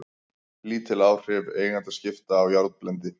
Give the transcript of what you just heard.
Lítil áhrif eigendaskipta á járnblendi